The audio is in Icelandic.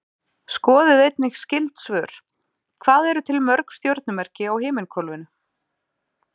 Skoðið einnig skyld svör: Hvað eru til mörg stjörnumerki á himinhvolfinu?